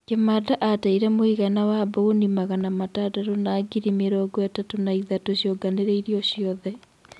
Kimanda ateire mũigana wa mbaũni magana matandatũ na ngirĩ mĩrongo-ĩtatũ na ithatũ cionganĩrĩirio ciothe.